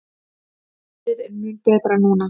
Veðrið er mun betra núna.